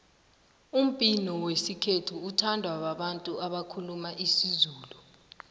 umbhino wesikhethu uthandwa babantu abakhuluma isizulu